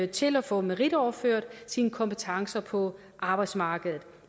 til at få meritoverført sine kompetencer på arbejdsmarkedet